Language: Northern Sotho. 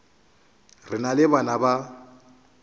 re na le bana ba